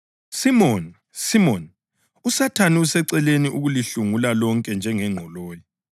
Simoni, Simoni uSathane usecele ukulihlungula lonke njengengqoloyi.